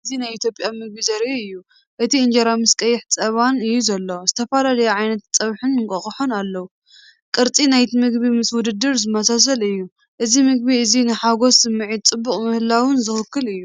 እዚ ናይ ኢትዮጵያ ምግቢ ዘርኢ እዩ። እቲ እንጀራ ምስ ቀይሕ ጸባን እዩ ዘሎ። ዝተፈላለዩ ዓይነታት ጸብሕን እንቋቑሖን ኣለዉ። ቅርጺ ናይቲ ምግቢ ምስ ውድድር ዝመሳሰል እዩ። እዚ ምግቢ እዚ ንሓጐስን ስምዒት ጽቡቕ ምህላውን ዝውክል እዩ።